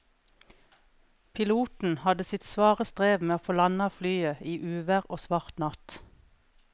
Piloten hadde sitt svare strev med å få landet flyet i uvær og svart natt.